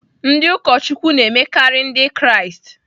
Ndị ụkọchukwu na-emekarị Ndị Kraịst.